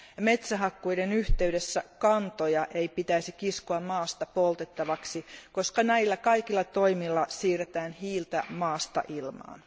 Metsähakkuiden yhteydessä kantoja ei pitäisi kiskoa maasta poltettavaksi, koska näillä kaikilla toimilla siirretään hiiltä maasta ilmaan.